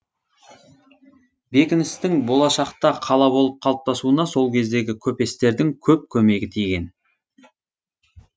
бекіністің болашақта қала болып қалыптасуына сол кездегі көпестердің көп көмегі тиген